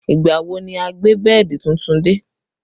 Ìgbà wo ni wọn á gbé bẹ́ẹ̀dì tuntun dé?